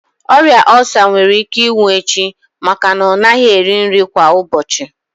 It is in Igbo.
Ọrịa ulcer nwere ike ịnwụ echi maka na ọ naghị eri nri kwa ụbọchị.